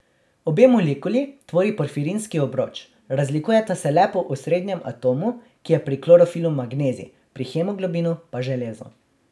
Obe molekuli tvori porfirinski obroč, razlikujeta se le po osrednjem atomu, ki je pri klorofilu magnezij, pri hemoglobinu pa železo.